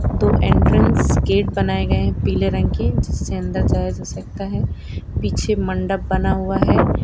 दो entrance gate बनाए गए हैं पीले रंग के जिससे अंदर जाया जा सकता है पीछे मंडप बना हुआ है।